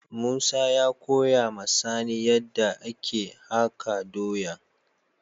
Musa ya koya ma sani yadda ake haka doyan.